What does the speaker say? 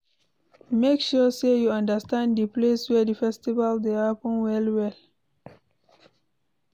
Make sure say you understand the place wey the festival de happen well well